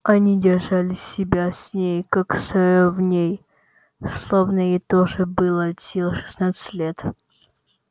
они держали себя с ней как с ровней словно ей тоже было от силы шестнадцать лет